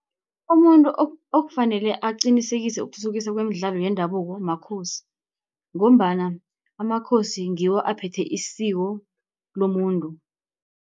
Umuntu okufanele aqinisekise ukuthuthukiswa kwemidlalo yendabuko makhosi, ngombana amakhosi ngiwo aphethe isiko lomuntu.